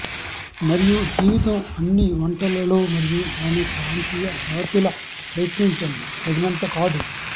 మరియు జీవితం అన్ని వంటలలో మరియు దాని ప్రాంతీయ జాతుల ప్రయత్నించండి తగినంత కాదు